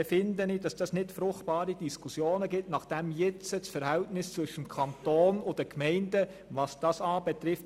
Ich denke, dass dies nicht unbedingt zu fruchtbaren Diskussionen führt, nachdem nun das Verhältnis zwischen Kanton und Gemeinden gut ist, was dies betrifft.